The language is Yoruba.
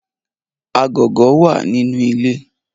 Agogo wa ninu ile